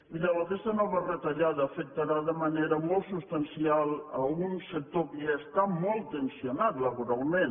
mireu aquesta nova retallada afectarà de manera molt substancial un sector que ja està molt tensat laboralment